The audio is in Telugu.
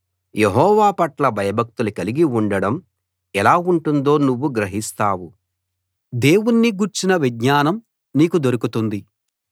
యెహోవాపట్ల భయభక్తులు కలిగి ఉండడం ఎలా ఉంటుందో నువ్వు గ్రహిస్తావు దేవుణ్ణి గూర్చిన విజ్ఞానం నీకు దొరుకుతుంది